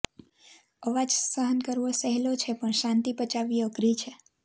અવાજ સહન કરવો સહેલો છે પણ શાંતિ પચાવવી અઘરી છે